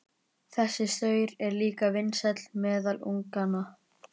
Þessi saur er líka vinsæll meðal unganna.